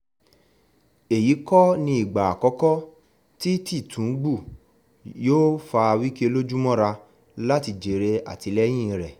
èyí kọ́ ni ìgbà àkọ́kọ́ tí tìtúngbù yóò fa wike lójú mọ́ra láti jèrè àtìlẹ́yìn rẹ̀